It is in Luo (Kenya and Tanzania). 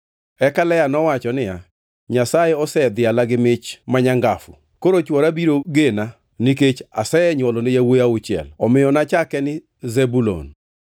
Eka Lea nowacho niya, “Nyasaye osedhiala gi mich ma nyangafu. Koro chwora biro gena nikech asenywolone yawuowi auchiel.” Omiyo nachake ni Zebulun. + 30:20 Zebulun tiende ni duongʼ.